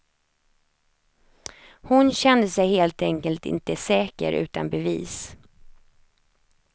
Hon kände sig helt enkelt inte säker utan bevis.